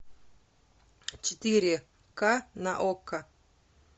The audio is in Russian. четыре ка на окко